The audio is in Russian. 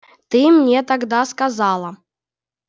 ты мне тогда сказала